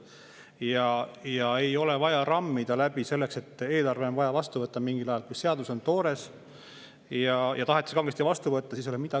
Ja ei ole vaja rammida läbi selleks, et eelarve on vaja vastu võtta mingil ajal ja tahetakse kangesti vastu võtta, kuigi see on toores.